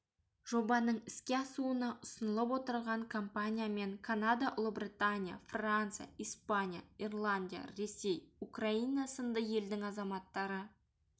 жобаның іске асуына ұсынылып отырған компаниямен канада ұлыбритания франция испания ирландия ресей украина сынды елдің азаматтары